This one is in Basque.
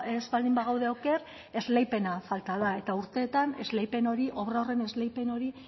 ez baldin bagaude oker esleipena falta da eta urteetan esleipen hori obra horren esleipen hori